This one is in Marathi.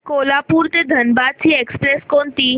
कोल्हापूर ते धनबाद ची एक्स्प्रेस कोणती